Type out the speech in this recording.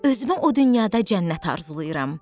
Özümə o dünyada cənnət arzulayıram.